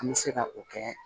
An bɛ se ka o kɛ